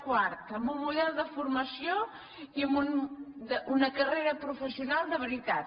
quart amb un model de formació i amb una carrera pro· fessional de veritat